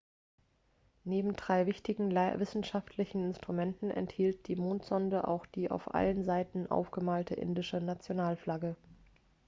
neben drei wichtigen wissenschaftlichen instrumenten enthielt die mondsonde auch die auf allen seiten aufgemalte indische nationalflagge